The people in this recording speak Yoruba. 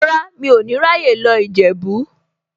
Rárá, mi ò ní ráyè lọ Ìjẹ̀bú.